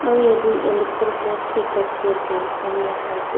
aru jatte electric post bhi ekta dekhi ase pani laga side te.